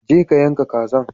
Je ka yanka kazan.